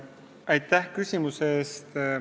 Aitäh küsimuse eest!